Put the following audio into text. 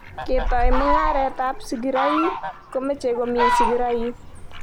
Ketoi mung'aret ap.sigiroik komechei komii sigiroik.